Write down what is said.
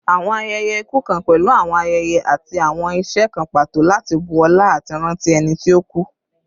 Awọn ayẹyẹ iku kan pẹlu awọn ayẹyẹ ati awọn iṣe kan pato lati bu ọla ati ranti ẹni ti o ku